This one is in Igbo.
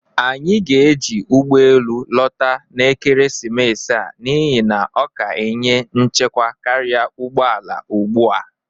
Anyị ga-eji ụgbọ elụ lọta n'ekeresimesi a n'ihi na ọ ka enye nchekwa karịa ụgbọ ala ugbu a.